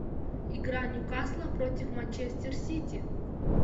игра ньюкасла против манчестер сити